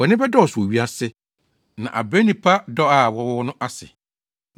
Bɔne bɛdɔɔso wɔ wiase, na abrɛ nnipa dɔ a wɔwɔ no ase.